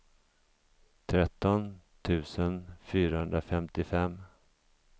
tretton tusen fyrahundrafemtiofem